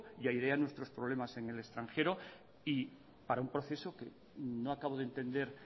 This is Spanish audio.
y airea nuestros problemas en el extranjero y para un proceso que no acabo de entender